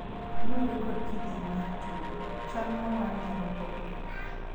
luwore kod kidieny mar tuo, chal mowal nyalo pogore